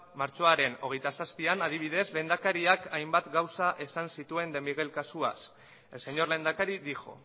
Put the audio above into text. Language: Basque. martxoaren hogeita zazpian adibidez lehendakariak hainbat gauza esan zituen de miguel kasuaz el señor lehendakari dijo